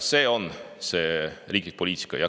See on see riiklik poliitika.